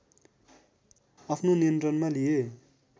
आफ्नो नियन्त्रणमा लिए